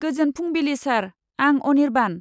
गोजोन फुंबिलि सार, आं अनिर्बान।